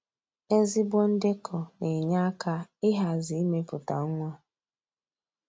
Ezigbo ndekọ na-enye aka ịhazi imepụta nwa